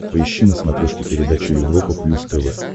поищи на смотрешке передачу европа плюс тв